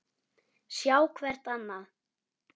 Sjá hvert annað.